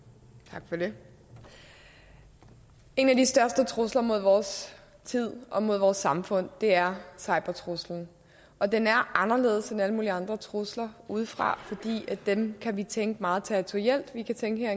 tak for det en af de største trusler mod vores tid og mod vores samfund er cybertruslen og den er anderledes end alle mulige andre trusler udefra fordi dem kan vi tænke på meget territorielt vi kan tænke at